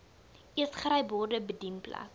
eetgery borde bedienplek